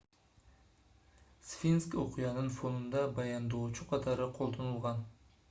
сфинкс окуянын фонунда баяндоочу катары колдонулган